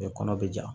kɔnɔ bɛ ja